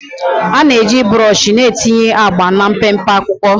A na-eji brọsh na-etinye agba na mpempe akwụkwọ